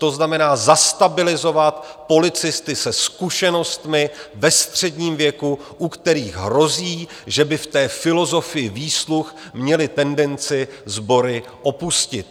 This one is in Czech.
To znamená, zastabilizovat policisty se zkušenostmi, ve středním věku, u kterých hrozí, že by v té filozofii výsluh měli tendenci sbory opustit.